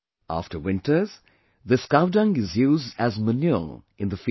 After winters, this cow dung is used as manure in the fields